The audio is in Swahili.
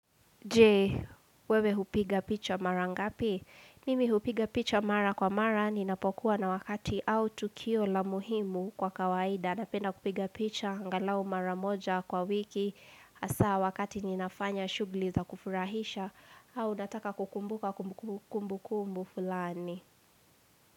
Jee, wewe hupiga picha mara ngapi? Mimi hupiga picha mara kwa mara, ninapokuwa na wakati au tukio la muhimu kwa kawaida. Napenda kupiga picha, angalau mara moja kwa wiki, hasa wakati ninafanya shughuli za kufurahisha, au nataka kukumbuka kumbukumbu fulani.